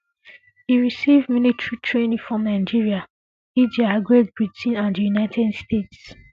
e receive military training for nigeria india great britain and di united states